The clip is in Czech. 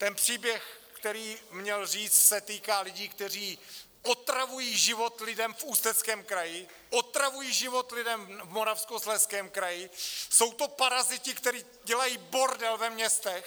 Ten příběh, který měl říct, se týká lidí, kteří otravují život lidem v Ústeckém kraji , otravují život lidem v Moravskoslezském kraji, jsou to paraziti, který dělají bordel ve městech.